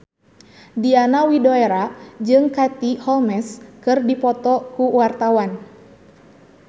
Diana Widoera jeung Katie Holmes keur dipoto ku wartawan